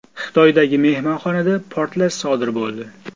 Xitoydagi mehmonxonada portlash sodir bo‘ldi.